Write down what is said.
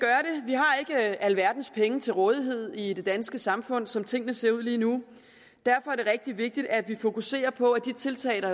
alverdens penge til rådighed i det danske samfund som tingene ser ud lige nu derfor er det rigtig vigtigt at vi fokuserer på at de tiltag